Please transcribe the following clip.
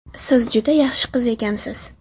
Siz juda yaxshi qiz ekansiz.